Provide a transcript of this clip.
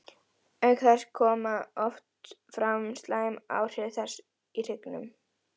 Auk þess koma oft fram slæm áhrif þess í hryggnum.